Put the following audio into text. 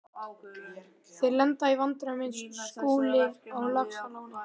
Þeir lenda í vandræðum eins og Skúli á Laxalóni.